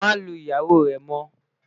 má Lu ìyàwó rè mo